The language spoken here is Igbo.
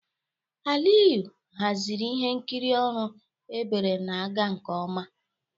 Aliyu haziri ihe nkiri ọrụ ebere na-aga nke ọma.